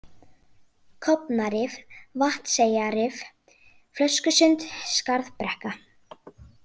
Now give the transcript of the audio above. Kofnarif, Vatnseyjarrif, Flöskusund, Skarðbrekka